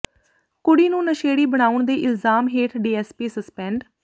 ਕੁੜੀ ਨੂੰ ਨਸ਼ੇੜੀ ਬਣਾਉਣ ਦੇ ਇਲਜ਼ਾਮ ਹੇਠ ਡੀਐਸਪੀ ਸਸਪੈਂਡ